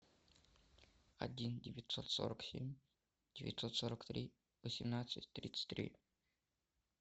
один девятьсот сорок семь девятьсот сорок три восемнадцать тридцать три